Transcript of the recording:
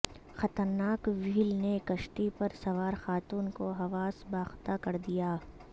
خطرناک وہیل نے کشتی پر سوارخاتون کو حواس باختہ کردیا